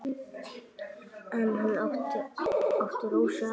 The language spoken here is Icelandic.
En hann átti Rósu að.